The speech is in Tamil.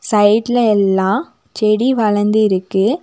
சைடுல எல்லாம் செடி வளந்திருக்கு.